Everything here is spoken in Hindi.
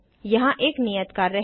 यहाँ एक नियत कार्य है